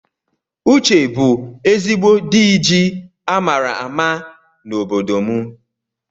Uche bu ezigbo dịji amara àmà na ọbọdọ mụ